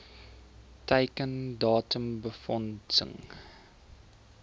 teiken datum befondsing